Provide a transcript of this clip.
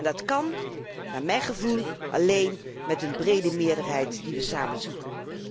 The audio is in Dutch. Dat kan naar mijn gevoel alleen met een brede meerderheid die wij samen zoeken.